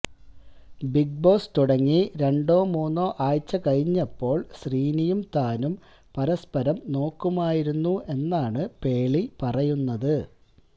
big Boss തുടങ്ങി രണ്ടോ മൂന്നോ ആഴ്ച കഴിഞ്ഞപ്പോള് ശ്രീനിയും താനും പരസ്പരം നോക്കുമായിരുന്നു എന്നാണ് പേളി പറയുന്നത്